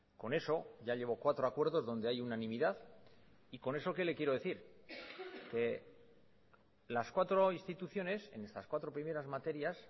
con eso ya llevo cuatro acuerdos donde hay unanimidad y con eso qué le quiero decir que las cuatro instituciones en estas cuatro primeras materias